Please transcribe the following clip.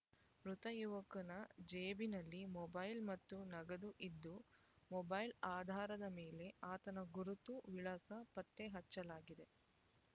ಮೃತ ಯುವಕನ ಜೇಬಿನಲ್ಲಿ ಮೊಬೈಲ್ ಮತ್ತು ನಗದು ಇದ್ದು ಮೊಬೈಲ್ ಆಧಾರದ ಮೇಲೆ ಆತನ ಗುರುತು ವಿಳಾಸ ಪತ್ತೆ ಹಚ್ಚಲಾಗಿದೆ